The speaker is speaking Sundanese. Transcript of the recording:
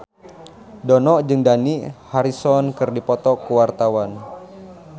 Dono jeung Dani Harrison keur dipoto ku wartawan